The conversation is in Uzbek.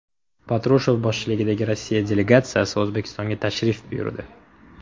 Patrushev boshchiligidagi Rossiya delegatsiyasi O‘zbekistonga tashrif buyurdi.